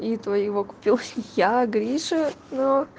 и твоего купил я гриша но